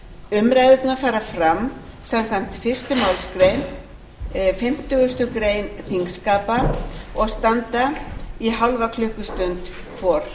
umræðurnar fara fram samkvæmt fyrstu málsgrein fimmtugustu grein þingskapa og standa í hálfa klukkustund hvor